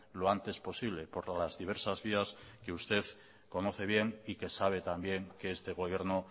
lo antes posible por las diversas vías que usted conoce bien y que sabe también que este gobierno